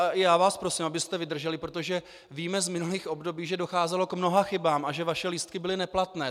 A i já vás prosím, abyste vydrželi, protože víme z minulých období, že docházelo k mnoha chybám a že vaše lístky byly neplatné.